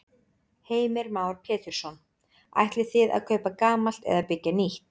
Heimir Már Pétursson: Ætlið þið að kaupa gamalt eða byggja nýtt?